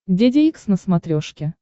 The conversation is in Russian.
деде икс на смотрешке